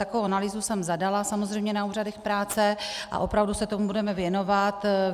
Takovou analýzu jsem zadala samozřejmě na úřadech práce a opravdu se tomu budeme věnovat.